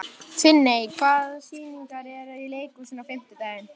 Adríana, mun rigna í dag?